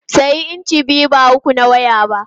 Sayi inci biyu ba uku na waya ba!